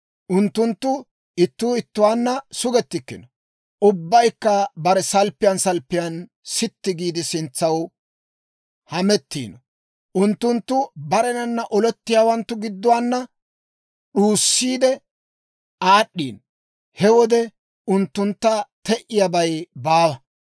Unttunttu ittuu ittuwaanna sugettikkino; ubbaykka bare salppiyaan salppiyaan sitti giide, sintsaw hamettiino. Unttunttu barennana olettiyaawanttu gidduwaana d'uussiide aad'd'iino; he wode unttuntta te"iyaabay baawa.